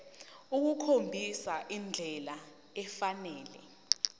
ukukhombisa indlela efanele